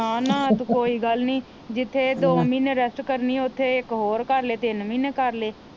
ਹਾਂ ਨਾ ਕੋਈ ਗੱਲ ਨੀ ਜਿਥੇ ਦੋ ਮਹੀਨੇ ਰੈਸਟ ਕਰਨੀ ਉਥੇ ਇਕ ਹੋਰ ਕਰਲੇ ਤਿੰਨ ਮਹੀਨੇ ਕਰਲੇ